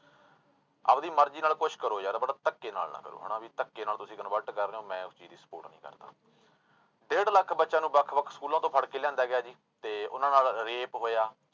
ਆਪਦੀ ਮਰਜ਼ੀ ਨਾਲ ਕੁਛ ਕਰੋ ਯਾਰ but ਧੱਕੇ ਨਾਲ ਨਾ ਕਰੋ ਹਨਾ ਵੀ ਧੱਕੇ ਨਾਲ ਤੁਸੀਂ convert ਕਰ ਰਹੇ ਹੋ ਮੈਂ ਉਸ ਚੀਜ਼ ਦੀ support ਨੀ ਕਰਦਾ ਡੇਢ ਲੱਖ ਬੱਚਿਆਂ ਨੂੰ ਵੱਖ ਵੱਖ ਸਕੂਲਾਂ ਤੋਂ ਫੜਕੇ ਲਿਆਂਦਾ ਗਿਆ ਜੀ ਤੇ ਉਹਨਾਂ ਨਾਲ rape ਹੋਇਆ।